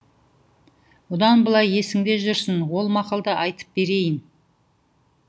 бұдан былай есіңде жүрсін ол мақалды айтып берейін